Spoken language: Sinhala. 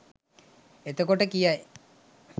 එතකොට කියයි